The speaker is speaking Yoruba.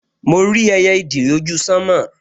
Mo rí ẹyẹ ìdì lójú sánmọ̀